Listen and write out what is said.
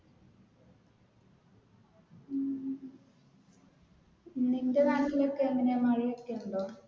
നിന്റെ നാട്ടിൽ ഒക്കെ എങ്ങനെയാ മഴയൊക്കെയുണ്ടോ?